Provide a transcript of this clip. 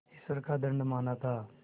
ईश्वर का दंड माना था